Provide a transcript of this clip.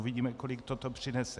Uvidíme, kolik toto přinese.